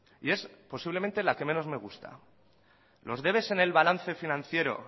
y es posiblemente la que menos me gusta los debes en el balance financiero